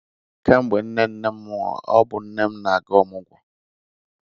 Kemgbe nne nnem nwụrụ, ọ bụ nne m na-aga ọmụgwọ.